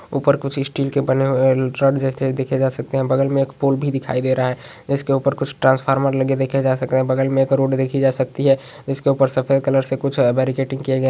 ऊपर कुछ स्टील का बना हुआ है। ट्रक जैसे देखे जा सकते है। बगल मे एक पोल भी दिखाई दे रहा है जिसके ऊपर कुछ ट्रैन्स्फॉर्मर लगे देखे जा सकते है। बगल मे रोड देखे जा सकते है। इसके ऊपर सफ़ेद कलर से कुछ--